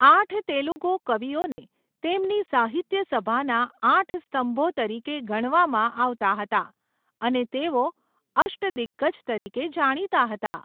આઠ તેલુગુ કવિઓને તેમની સાહિત્યસભાના આઠ સ્તંભો તરીકે ગણવામાં આવતા હતા અને તેઓ અષ્ટદિગ્ગજ તરીકે જાણીતા હતા.